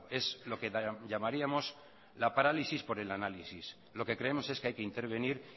es lo que llamaríamos la parálisis por el análisis lo que creemos es que hay que intervenir